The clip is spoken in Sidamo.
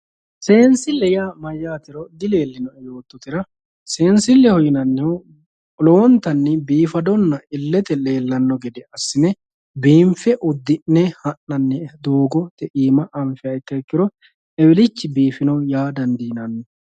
Seenisile yaa mmayatero diafomo yoototera seenisileho yinanirichi doogote biinfe hananihana ikana koneseensileho yine woshinani